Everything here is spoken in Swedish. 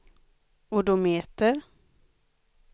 odometer